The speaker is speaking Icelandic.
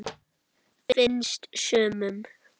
Finnst sumum.